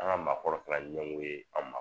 An ŋa maakɔrɔ kɛla ɲɛngo ye an ma